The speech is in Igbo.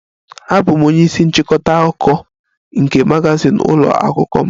Abụ m onye isi nchịkọta akụkọ nke magazin ụlọ akwụkwọ m